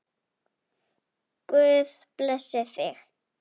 Guð blessi þig!